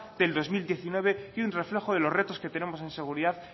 del dos mil diecinueve y un reflejo de los retos que tenemos